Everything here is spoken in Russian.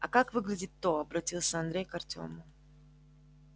а как выглядит то обратился андрей к артему